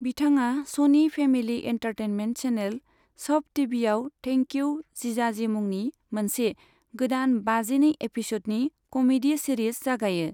बिथाङा स'नि family entertainment channel, SAB टिभिआव थेंक इउ जिजाजि मुंनि मोनसे गोदान बाजिनै एपिस'डनि कमेडी सिरिज जागायो।